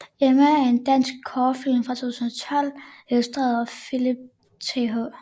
Emma er en dansk kortfilm fra 2012 instrueret af Philip Th